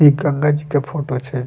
इ गंगा जी के फोटो छै।